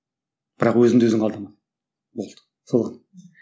бірақ өзіңді өзің алдама болды сол ақ